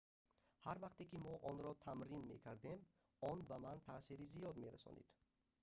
ҳар вақте ки мо онро тамрин мекардем он ба ман таъсири зиёд мерасонид